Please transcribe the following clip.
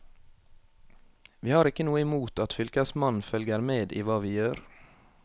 Vi har ikke noe imot at fylkesmannen følger med i hva vi gjør.